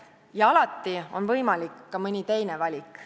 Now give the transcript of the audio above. Ja alati on võimalik ka mõni teine valik.